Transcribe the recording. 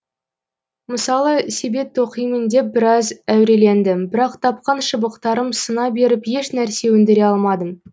мысалы себет тоқимын деп біраз әурелендім бірақ тапқан шыбықтарым сына беріп ешнәрсе өндіре алмадым